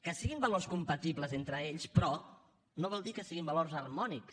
que siguin valors compatibles entre ells però no vol dir que siguin valors harmònics